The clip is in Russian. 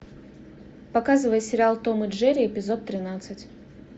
показывай сериал том и джерри эпизод тринадцать